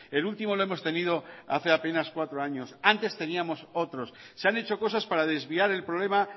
el último lo hemos tenido hace apenas cuatro años antes teníamos otros se han hecho cosas para desviar el problema